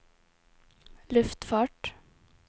luftfart